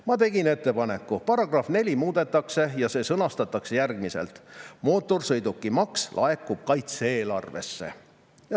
Ma tegin ettepaneku: "Paragrahv 4 muudetakse ja see sõnastatakse järgmiselt: "Mootorsõidukimaks laekub kaitse-eelarvesse."